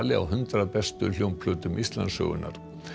á hundrað bestu hljómplötum Íslandssögunnar